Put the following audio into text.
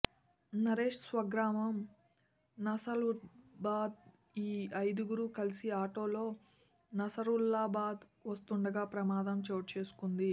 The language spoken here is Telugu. నరేశ్ స్వగ్రామం నసరుల్లాబాద్ ఈ ఐదుగురు కలిసి ఆటోలో నసరుల్లాబాద్ వస్తుండగా ప్రమాదం చోటు చేసుకుంది